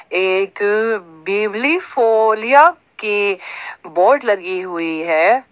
एक बिबलीफोलीया की बोर्ड लगी हुई है।